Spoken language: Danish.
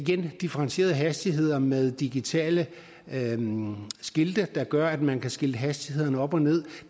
differentierede hastigheder med digitale skilte der gør at man kan skilte hastighederne op og ned